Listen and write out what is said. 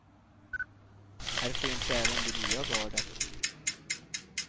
Här finns även det nya gardet.